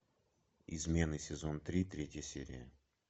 измены сезон три третья серия